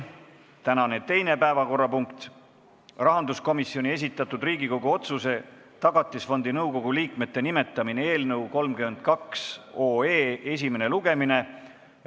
Tänane teine päevakorrapunkt on rahanduskomisjoni esitatud Riigikogu otsuse "Tagatisfondi nõukogu liikmete nimetamine" eelnõu 32 esimene lugemine.